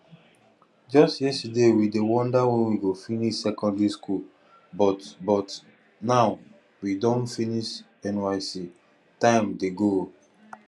just yesterday we dey wonder when we go finish secondary school but but now we don finish nysc time dey go